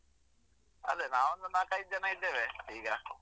ಅದೆ ನಾವೊಂದು ನಾಕೈದ್ ಜನ ಇದ್ದೇವೆ ಈಗ.